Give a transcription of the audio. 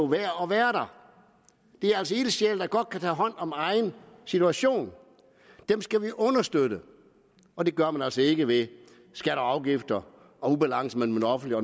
værd at være der det er altså ildsjæle der godt kan tage hånd om egen situation dem skal vi understøtte og det gør man altså ikke ved skatter og afgifter og ubalance mellem den offentlige